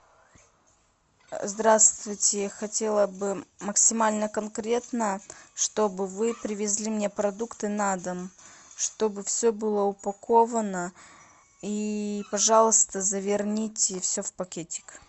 здравствуйте я хотела бы максимально конкретно чтобы вы привезли мне продукты на дом чтобы все было упаковано и пожалуйста заверните все в пакетик